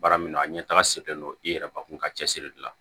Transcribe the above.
Baara min na a ɲɛ taga selen don i yɛrɛbakun ka cɛsiri de la